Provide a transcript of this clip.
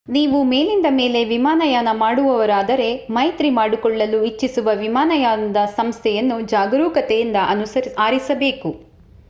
ನೀವು ಮೇಲಿಂದ ಮೇಲೆ ವಿಮಾನಯಾನ ಮಾಡುವವರಾದರೆ ಮೈತ್ರಿ ಮಾಡಿಕೊಳ್ಳಲು ಇಚ್ಚಿಸುವ ವಿಮಾನಯಾನದ ಸಂಸ್ಥೆಯನ್ನು ಜಾಗರೂಕತೆಯಿಂದ ಆರಿಸಬೇಕು